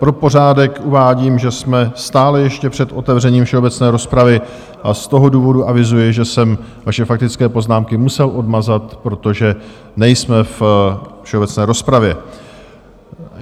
Pro pořádek uvádím, že jsme stále ještě před otevřením všeobecné rozpravy, a z toho důvodu avizuji, že jsem vaše faktické poznámky musel odmazat, protože nejsme ve všeobecné rozpravě.